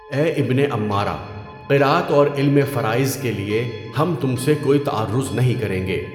اے ابنِ عَمّارہ، قراءت اور علمِ فرائض کے لیے ہم تم سے کوئی تعرُّض نہیں کریں گے۔